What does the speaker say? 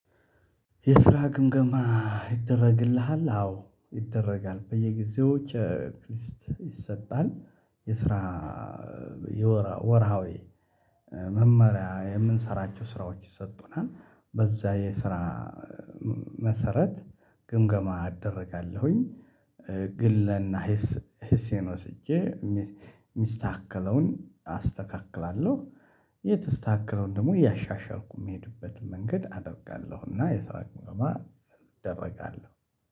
የስራ ግምገማ ይደረግልሃል አዎ ይደረጋል በየጊዜዎች ኧ ቸክሊስት ይሰጣል። የስራ ወርሃዊ መመሪያ የምንሰራቸው ስራዎች ይሰጡናል በዛ የስራ መሰረት ግምገማ እደርጋለሁኝ። ግለና ሂስ ህሴን ወስጄ እሚስ እሚስተካከለውን አስተካክላለሁ። የተስተካከለውን ደግሞ እያሻሻልኩ የሚሄድበትን መንገድ አደርጋለሁ እና የስራ ግምገማ እደረጋለሁ